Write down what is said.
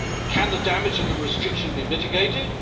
Can the damage of the restriction be mitigated?